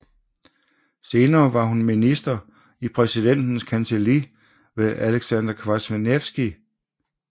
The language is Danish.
Senere var hun minister i præsidentens kancelli ved Aleksander Kwaśniewski